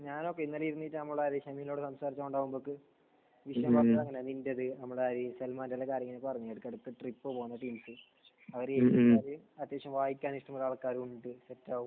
ഞാനൊക്കെ ഇന്നലെ ഇരുന്നിട്ട് നമ്മുടെ സംസാരിച്ചപ്പോൾ വിഷയം വരുന്നത് അങ്ങനെയാണ്. നിന്റേത്, നമ്മുടെ ഈ സൽമാന്റെ ഒക്കെ കാര്യങ്ങൾ ഇടക്ക് ഇടക്ക് ട്രിപ്പ് പോകണം അവർ അത്യാവശ്യം വായിക്കാൻ ഇഷ്ടമുള്ള ആൾക്കാരുമായിട്ട് സെറ്റാകും